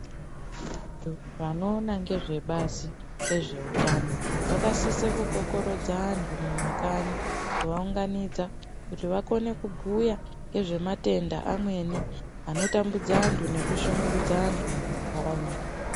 Vantu vanoona ngezvebazi rezveutano vakasisa kukokorodza antu mumakanyi kuvaunganidza kuti vakone kubhuya ngezvematenda amweni anotambudza antu nekushungurudza antu mumantaraunda.